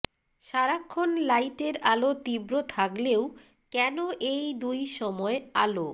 সারাক্ষণ লাইটের আলো তীব্র থাকলেও কেন এই দুই সময় আলো